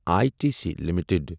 I T C limited